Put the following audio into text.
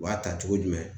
U b'a ta cogo jumɛn